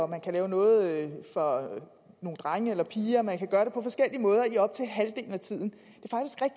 man kan lave noget for drenge eller for piger man kan gøre det på forskellige måder i op til halvdelen af tiden